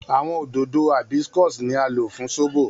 Àwọn òdòdó Hibiscus ni a lò fún sóbò